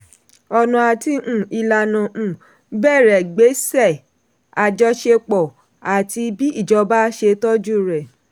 ọ̀nà àti um ìlànà um bẹ̀rẹ̀ gbèsè àjọṣepọ̀ àti bí ìjọba ṣe tọ́jú rẹ̀.